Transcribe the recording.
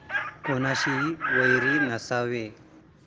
कुणाशीही वैर नसावे.